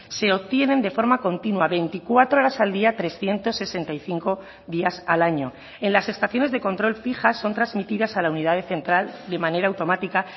se obtienen de forma continua veinticuatro horas al día trescientos sesenta y cinco días al año en las estaciones de control fijas son transmitidas a la unidad central de manera automática